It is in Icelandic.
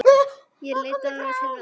Ég leit til mömmu.